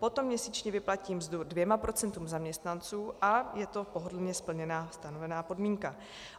Potom měsíčně vyplatí mzdu dvěma procentům zaměstnanců a je to pohodlně splněná stanovená podmínka.